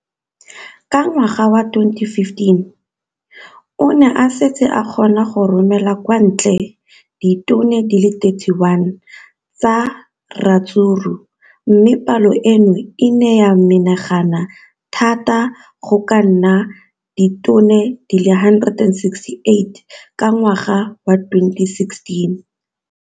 Ka ngwaga wa 2015, o ne a setse a kgona go romela kwa ntle ditone di le 31 tsa ratsuru mme palo eno e ne ya menagana thata go ka nna ditone di le 168 ka ngwaga wa 2016.